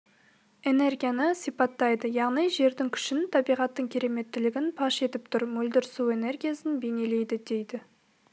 энергияны сипаттайды яғни жердің күшін табиғаттың кереметтілігін паш етіп тұр мөлдір су энергиясын бейнелейді дейді